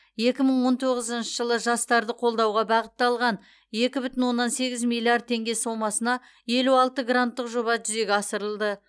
екі мың он тоғызыншы жылы жастарды қолдауға бағытталған екі бүтін оннан сегіз миллиард теңге сомасына елу алты гранттық жоба жүзеге асырылды